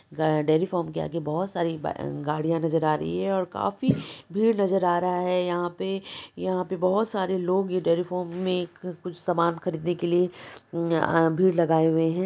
ग dairy farm के आगे बहुत सारी ब गाड़ियां नजर आ रही है और काफी भीड़ नजर आ रहा है यहां पे यहां पे बहुत सारे लोग डेरी फार्म में एक कुछ सामान खरीदने के लिए अ भीड़ लगाए हुए हैं।